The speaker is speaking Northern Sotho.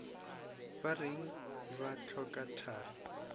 ba reng ba hloka thari